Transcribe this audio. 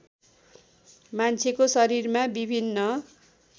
मान्छेको शरीरमा विभिन्न